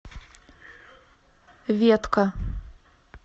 ветка